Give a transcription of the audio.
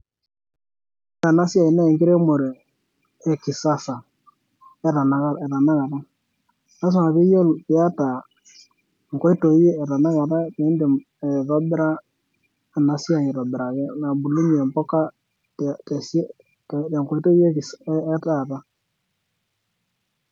Ore ena siai naa enkiremore e kisasa eetanakata lasima piyiolo piata nkoitoi eetanakata pindim aitobira ena siai aitobiraki nabulunyie impuka te tesi tenkoitoi ekis etaata.